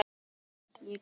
Lilla stóð upp.